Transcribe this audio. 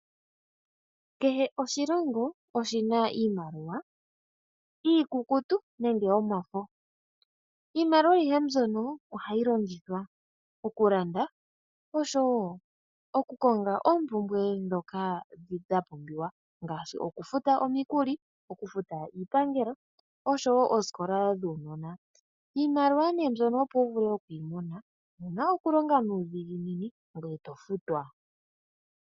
Kehe oshilongo oshina iimaliwa iikukutu nenge yomafo iimaliwa ayihe mbyono ohayi longithwa oku landa oshowo oku konga oompumbwe ndhoka dhapumbiwa ngaashi oku futa omikuli, oku futa iipangelo oshowo oosikola dhuunona, iimaliwa nee mbyono opo wuvule okuyi mona owuna oku longa nuudhiginini ngweye to futwa.